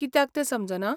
कित्याक तें समजना?